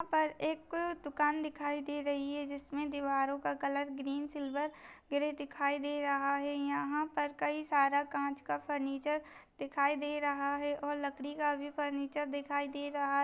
यहाँ पर एक दुकान दिखाई दे रही है इसमें दीवारों का कलर ग्रीन सिल्वर ग्रे दिखाई दे रहा है यहाँ पर कई सारा काँच का फर्नीचर दिखाई दे रहा है और लकड़ी का भी फर्नीचर दिखाई दे रहा है।